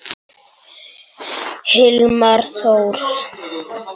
Hilmar Þór.